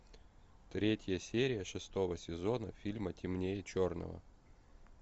третья серия шестого сезона фильма темнее черного